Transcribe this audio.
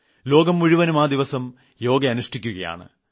ലോകം മുഴുവനും ആ ദിവസം യോഗ അനുഷ്ഠിക്കുകയാണ്